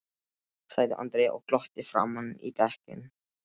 sagði Andrea og glotti framan í bekkinn.